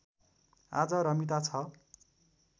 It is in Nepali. आज रमिता छ